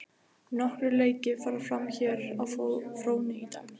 Nokkrir leiki fara fram hér á fróni í dag.